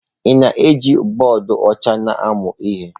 Ị na-eji bọọdụ ọcha na-amụ ihe?